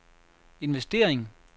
investering